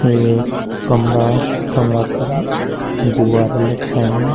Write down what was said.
यु एक कमरा ते कमरा पर गुबारा लटकयीं।